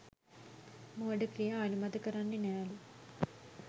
මෝඩ ක්‍රියා අනුමත කරන්නේ නෑලු